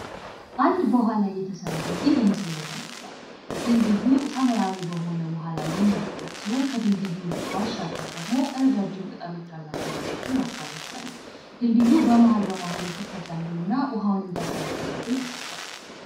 አንድ በውሀ ላይ የተሰራ ድልድይ በምስሉ ላይ ተመልክቷል። ድልድዩ ሰማያዊ በሆነ ውሃ ላይ የሚያርቋጥ ሲሆን፤ ከድልድዩ ባሻገር ደግሞ ረጃጅም ቅጠሎች ያላቸው ዛፎችን ማስተዋል እንችላለን። ድልድዩ በመሀል መሀሉ ክፍተት ያለውና ውሀን እንዲያሳልፍ ተደርጎ ተስርቷል።